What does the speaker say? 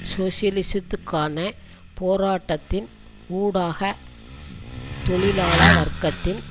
சோசியலிசத்துக்கான போராட்டத்தின் ஊடாக தொழிலாள வர்க்கத்தின்